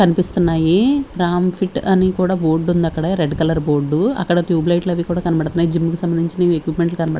కనిపిస్తున్నాయి రామ్ ఫిట్ అని కూడా బోర్డు ఉంది అక్కడ రెడ్ కలర్ బోర్డు అక్కడ ట్యూబ్లైట్ అవి కూడా కనబడుతున్నాయి జిమ్ కి సంబంధించిన ఎక్విపమెంట్లు కనబ--